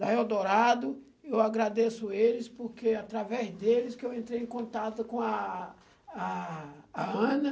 da Real Dourado, eu agradeço eles, porque é através deles que eu entrei em contato com a a a Ana.